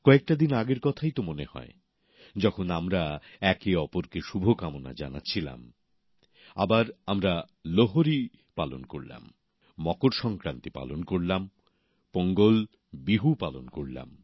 কয়েকটা দিন আগের কথাই তো মনে হয় যখন আমরা একে অপরকে শুভকামনা জানাচ্ছিলাম আবার আমরা লোহরী পালন করলাম মকর সংক্রান্তি পালন করলাম পোঙ্গল বিহু পালন করলাম